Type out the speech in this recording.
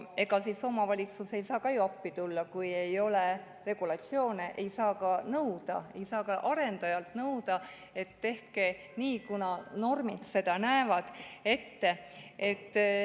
Ega omavalitsus ei saa ka ju appi tulla, kui ei ole regulatsioone, ta ei saa arendajalt nõuda, et tehke nii, kuna normid näevad nii ette.